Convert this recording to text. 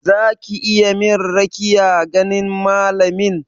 Za ki min rakiyar ganin malamin?